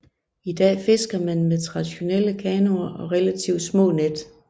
I dag fisker man med traditionelle kanoer og relativt små net